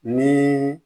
Ni